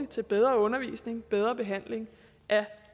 til bedre undervisning til bedre behandling af